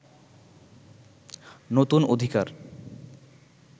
নতুন অধিকার